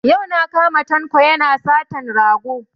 Yau na kama Tanko yana satan rago